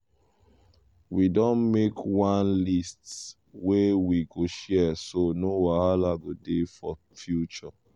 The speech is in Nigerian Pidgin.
we don make one list wey we go share so no wahala go dey for future. future.